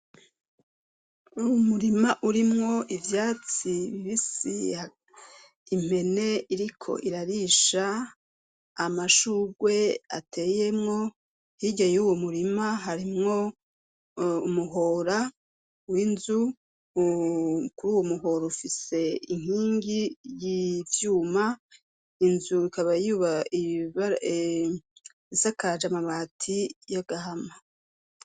Uwo murima urimwo ivyatsi bibisi, impene iriko irarisha, amashugwe ateyemwo, hirya y'uwo murima harimwo umuhora w'inzu, kuri uwo muhora ufise inkingi y'ivyuma, inzu ikaba isakaje amabati y'agahama.